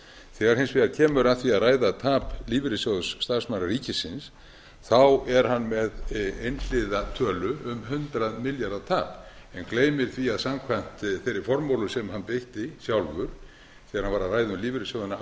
þegar kemur hins vegar að því að ræða tap lífeyrissjóðs starfsmanna ríkisins þá er hann með einhliða tölu um hundrað milljarða tap en gleymir því að samkvæmt þeirri formúlu sem hann beitti sjálfur þegar hann var að ræða um lífeyrissjóðina